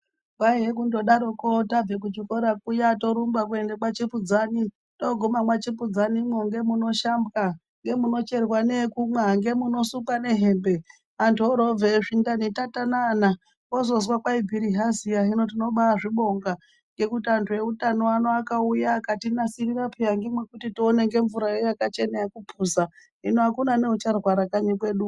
Kwaiye kungodaroko, tabva kuchikora kwiya turumba kuenda kwachipudzani. Togumeyo mwachipudzanimwo ngemunoshambwa ngemunocherwa neyekumwa. ndomunosukwa nehembe antu oroobveyo zvindani tatanana, wozozwa kwayi bhirihaziya hino tinobazvibonga ngekuti antu eutano ano akauya akatinasirira piya ngemwekuti tione ngemvura ino yakachena yekupuza. Hino akuna neucharwara kanyi kwedu.